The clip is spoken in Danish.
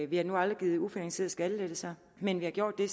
vi har nu aldrig givet ufinansierede skattelettelser men vi har gjort det